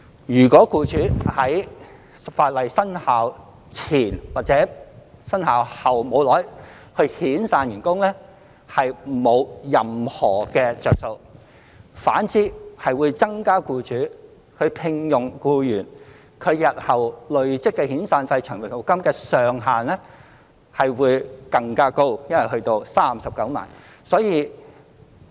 如果僱主在法例生效前或生效後不多久遣散員工，是沒有任何好處的，反而新聘用僱員日後累積的遣散費和長服金會更高，因為上限會增加到39萬元。